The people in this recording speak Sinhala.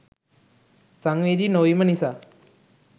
සංවේදී නොවිම නිසාය